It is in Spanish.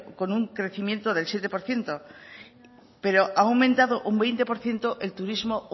con un crecimiento del siete por ciento pero ha aumentado un veinte por ciento el turismo